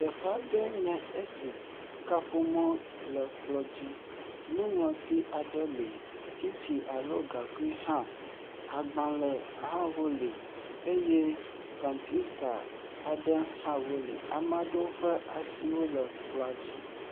Tsƒe aɖee n ye esi kaƒomɔ ele kplɔ dzi. Nuŋlɔti aɖe li. Tsitsi alo gaŋkui hã. Agbale hã wo li eye kɔmpita aɖe hã wo li. Ame ɖowo ƒe asiwo le kplɔa dzi.